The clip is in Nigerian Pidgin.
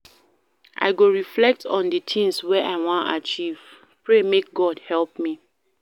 I go reflect on di tins wey I wan achieve, pray make God help me.